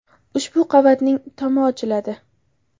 Ushbu qavatning tomi ochiladi.